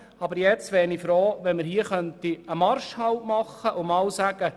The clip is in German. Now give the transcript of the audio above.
Aber ich wäre froh, wenn wir einen Marschhalt einlegen könnten.